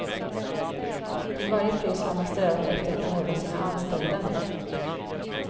Till varje pris har man strävat efter att behålla sina anställda.